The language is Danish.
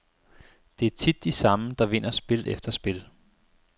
Det er tit de samme, der vinder spil efter spil.